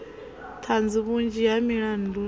ṱhanzi vhunzhi ha milandu i